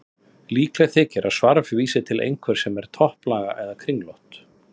Líklegt þykir að svarf vísi til einhvers sem er topplaga eða kringlótt.